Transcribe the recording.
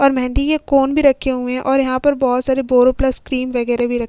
और मेहंदी के कोन भी रखे हुए हैं और यहाँ पर बहोत सारे बोरो प्लस क्रीम वगेरे भी रखे --